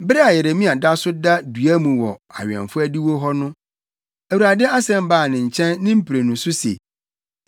Bere a Yeremia da so da dua mu wɔ awɛmfo adiwo hɔ no, Awurade asɛm baa ne nkyɛn ne mprenu so se: